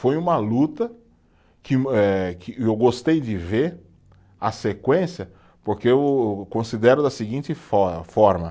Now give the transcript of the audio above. Foi uma luta que eh, que eu gostei de ver a sequência, porque eu considero da seguinte for forma.